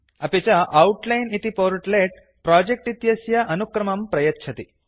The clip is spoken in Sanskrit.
अपि च आउटलाइन् इति पोर्ट्लेट् प्रोजेक्ट् इत्यस्य अनुक्रमं प्रयच्छति